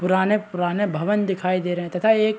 पुराने - पुराने भवन दिखाई दे रहै है तथा एक --